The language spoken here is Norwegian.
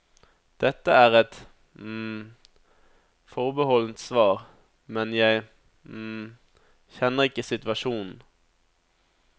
Dette er et forbeholdent svar, men jeg kjenner ikke situasjonen.